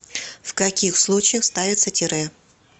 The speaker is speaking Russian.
в каких случаях ставится тире